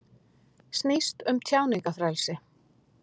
Snýst um tjáningarfrelsi